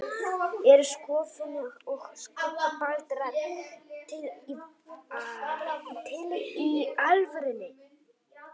Eru skoffín og skuggabaldrar til í alvörunni?